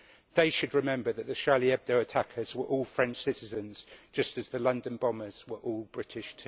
They should remember that the Charlie Hebdo attackers were all French citizens, just as the London bombers were all British.